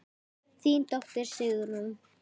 Þín dóttir, Sigrún.